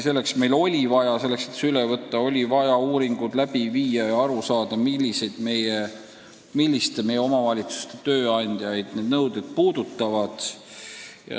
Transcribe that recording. Selleks, et see direktiiv üle võtta, oli vaja uuringud läbi viia ja kindlaks teha, milliste omavalitsuste tööandjaid need nõuded puudutavad.